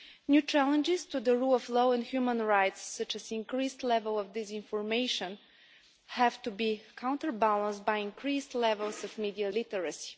New challenges to the rule of law and human rights, such as increased levels of disinformation, have to be counterbalanced by increased levels of media literacy.